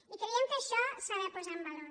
i creiem que això s’ha de posar en valor